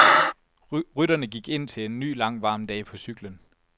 Rytterne gik indtil en ny lang, varm dag på cyklen.